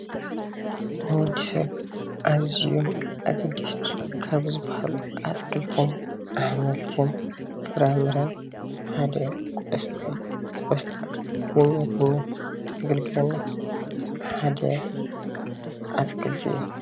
ንወዲ ሰብ አዝዮም ኣገደስቲ ካብ ዝባሃሉ ኣትክለቲን ኣሕምልትን ፍራምረን ሓደ ቆስጣ እዩ፡፡ ቆስጣ ንምግብነት ዘገልግልና ሓደ ኣትክልቲ እዩ፡፡